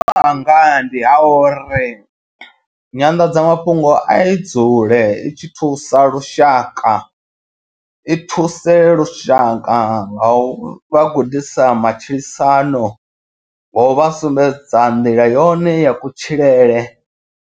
Anga ndi ha uri nyanḓadzamafhungo i dzule i tshi thusa lushaka i thuse lushaka nga u vha gudisa matshilisano nga u vha sumbedza nḓila yone ya kutshilele.